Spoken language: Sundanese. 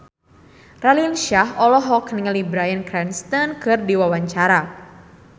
Raline Shah olohok ningali Bryan Cranston keur diwawancara